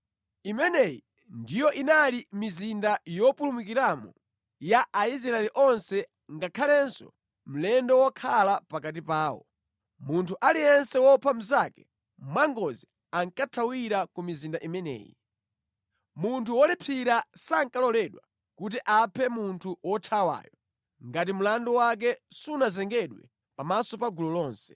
Imeneyi ndiyo inali mizinda yopulumukiramo ya Aisraeli onse ngakhalenso mlendo wokhala pakati pawo. Munthu aliyense wopha mnzake mwangozi ankathawira ku mizinda imeneyi. Munthu wolipsira sankaloledwa kuti aphe munthu wothawayo ngati mlandu wake sunazengedwe pamaso pa gulu lonse.